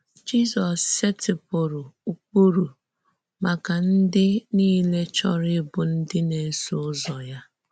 Jízọ́s sètìpùrụ̀ ụ́kpụrụ̀ màkà ndị nile chọ́rọ̀ íbụ̀ ǹdí na-èsò ǔzọ̀ ya.